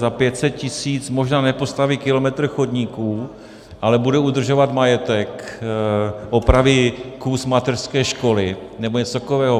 Za 500 tisíc možná nepostaví kilometr chodníků, ale budou udržovat majetek, opraví kus mateřské školy nebo něco takového.